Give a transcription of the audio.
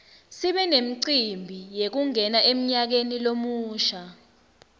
sibe nemicimbi yekungena emnyakeni lomusha